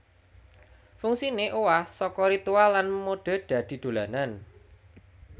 Fungsiné owah saka ritual lan mode dadi dolanan